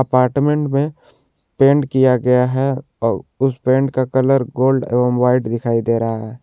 Apartment में paint किया गया है अ उस पेट का कलर गोल्ड एवं व्हाइट दिखाई दे रहा है।